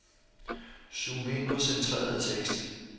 Zoom ind på centreret tekst.